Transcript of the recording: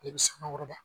E bɛ samakɔrɔba